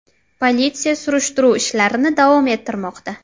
Politsiya surishtiruv ishlarini davom ettirmoqda.